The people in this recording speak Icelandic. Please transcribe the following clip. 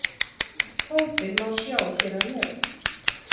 Hópinn má sjá hér að neðan